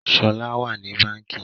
Shola wá ní Bánkì.